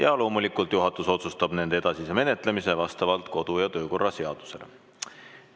Ja loomulikult juhatus otsustab nende edasise menetlemise vastavalt kodu- ja töökorra seadusele.